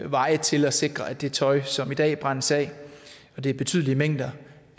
veje til at sikre at det tøj som i dag brændes af og det er betydelige mængder